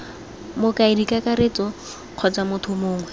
mokaedi kakaretso kgotsa motho mongwe